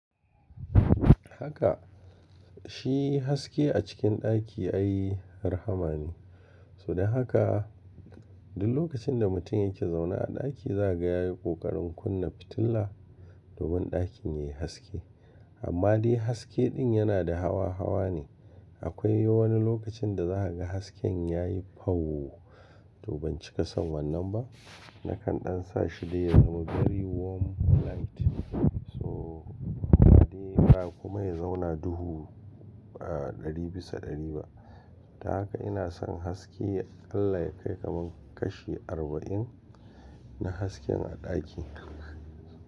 Haka, shi haske a cikin ɗaki ai rahama ne. So da haka duk lokacin da mutum yake zaune a ɗaki za a ga yayi ƙoƙarin kunna fitila domin ɗakin yayi haske. Amma dai haske ɗin yana da hawa hawa ne. Akwai wani lokacin da za a ga hasken yayi fauwo, toh ban cika san wannan ba, nakan ɗan sa shi dai ya zama gari warm light. So, amma dai ba kuma ya zauna duhu, ah ɗari bisa ɗari ba. Ta haka ina son haske, Allah ya kai kaman kashi arba'in na hasken a ɗaki.